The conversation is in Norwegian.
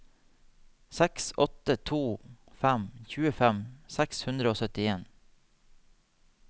seks åtte to fem tjuefem seks hundre og syttien